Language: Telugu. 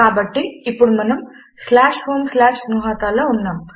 కాబట్టి ఇప్పుడు మనము homegnuhata లో ఉన్నాము